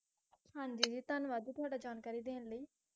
ਹਾਂ ਜੀ ਜੀ ਧੰਨਵਾਦ ਤੁਹਾਡਾ ਜਾਣਕਾਰੀ ਦੇਣ ਲਈ